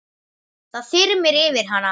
Það þyrmir yfir hana.